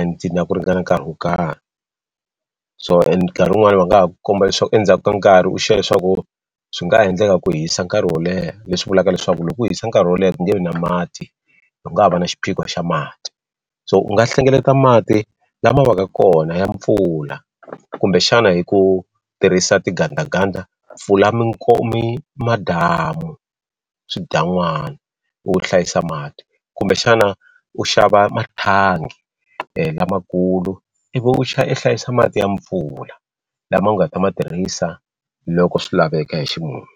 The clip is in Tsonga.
and na ku ringana nkarhi wo karhi so and nkarhi wun'wani va nga ha komba leswaku endzhaku ka nkarhi u leswaku swi nga endleka ku hisa nkarhi wo leha leswi vulaka leswaku loko ku hisa nkarhi wo leha ku nge vi na mati u nga ha va na xiphiqo xa mati so u nga hlengeleta mati lama va ka kona ya mpfula kumbexana hi ku tirhisa tingandaganda mpfula madamu swidan'wana u hlayisa mati kumbexana u xava mathangi lamakulu ivi u i hlayisa mati ya mpfula lama u nga ta ma tirhisa loko swi laveka hi ximumu.